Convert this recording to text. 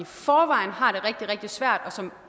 forvejen har det rigtig rigtig svært og som